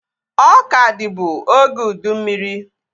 Ọka dịbu oge ụdị mmiri